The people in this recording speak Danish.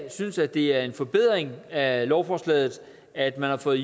synes at det er en forbedring af lovforslaget at man har fået